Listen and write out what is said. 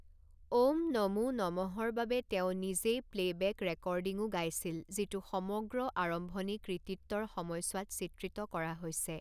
ওম নমো নমঃৰ বাবে তেওঁ নিজেই প্লে'বেক ৰেকৰ্ডিঙো গাইছিল, যিটো সমগ্ৰ আৰম্ভণি কৃতিত্বৰ সময়ছোৱাত চিত্ৰিত কৰা হৈছে।